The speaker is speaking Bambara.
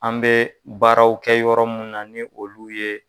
An bɛ baaraw kɛ yɔrɔ mun na ni olu ye.